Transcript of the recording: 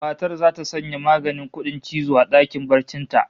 Matar zata sanya maganin kudin cizo a dakin barcin ta